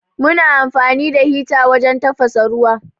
Muna amfani da hita wajen tafasa ruwa.